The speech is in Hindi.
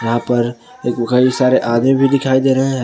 या पर एक कई सारे आदमी भी दिखाई दे रहे हैं।